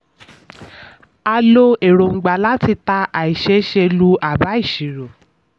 a lo èròńgbà láti ta àìséése lu àbá ìṣirò.